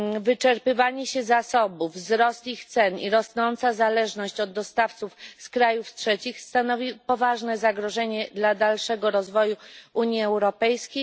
Wyczerpywanie się zasobów, wzrost ich cen i rosnąca zależność od dostawców z krajów trzecich stanowi poważne zagrożenie dla dalszego rozwoju Unii Europejskiej.